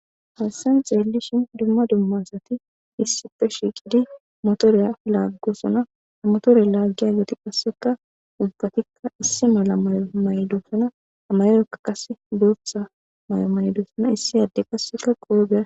Hassan xeelli shin dumma dummasati issife shiiqidi motoriya laaggosona amtore laaggiya geti qasseka ubfatikka issi mala mayo maydossona amayoreka qase bootha may7o maydoosona issi adde qasseka qoobea.